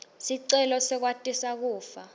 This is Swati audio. sicelo sekwatisa kufa